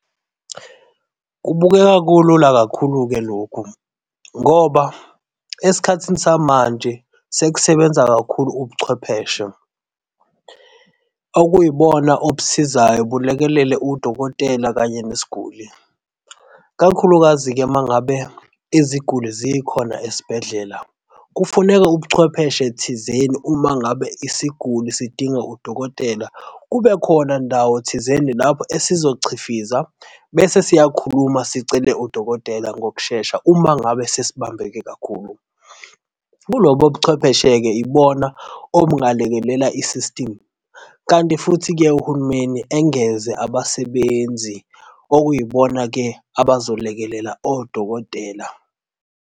Kubukeka kulula kakhulu-ke lokhu ngoba esikhathini samanje sekusebenza kakhulu ubuchwepheshe okuyibona obusizayo bulekelele udokotela kanye nesiguli. Kakhulukazi-ke uma ngabe iziguli zikhona esibhedlela, kufuneka ubuchwepheshe thizeni uma ngabe isiguli sidinga udokotela kubekhona ndawo thizeni lapho esizochifizwa bese siyakhuluma sicele udokotela ngokushesha uma ngabe sesibambeke kakhulu. Kulobo buchwepheshe-ke ibona obungalekelela i-system, kanti futhi-ke uhulumeni engeze abasebenzi okuyibona-ke abazolekelela odokotela.